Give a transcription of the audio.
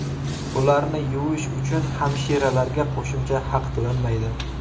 Ularni yuvish uchun hamshiralarga qo‘shimcha haq to‘lanmaydi.